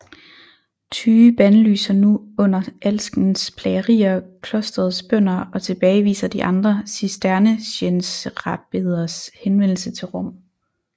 Tyge bandlyser nu under alskens plagerier klosterets bønder og tilbageviser de andre cistercienserabbeders henvendelse til Rom